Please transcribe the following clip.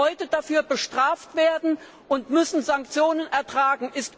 Sie müssen heute dafür bestraft werden und Sanktionen ertragen.